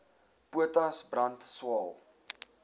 potas brand swael